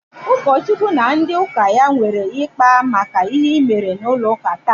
Ụkọchukwu na ndị ụka ya nwere ịkpa maka ihe i mere n'ụlọ ụka taa?